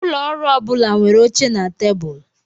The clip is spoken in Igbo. Ụlọ ọrụ ọ bụla nwere oche na tebụl.